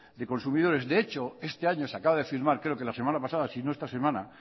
de consumidores de hecho este año se acaba de firmar creo que la semana pasada si no esta semana